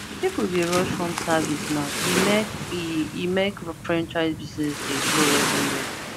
people dey rush home service now e make e make franchise business dey blow everywhere